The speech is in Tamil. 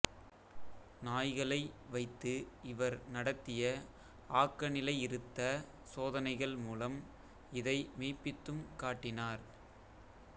நாய்களை வைத்து இவர் நடத்திய ஆக்கநிலையிருத்த சோதனைகள் மூலம் இதை மெய்ப்பித்தும் காட்டினார்